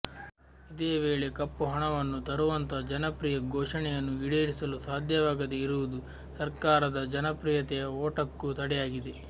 ಇದೇ ವೇಳೆ ಕಪ್ಪುಹಣವನ್ನು ತರುವಂತಹ ಜನಪ್ರಿಯ ಘೋಷಣೆಯನ್ನು ಈಡೇರಿಸಲು ಸಾಧ್ಯವಾಗದೆ ಇರುವುದು ಸರಕಾರದ ಜನಪ್ರಿಯತೆಯ ಓಟಕ್ಕೂ ತಡೆಯಾಗಿದೆ